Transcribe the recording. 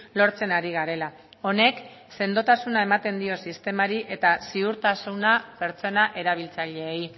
lortzen ari garela honek sendotasuna ematen dio sistemari eta ziurtasuna pertsona erabiltzaileei